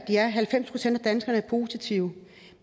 halvfems procent af danskerne er positive